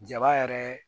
Jaba yɛrɛ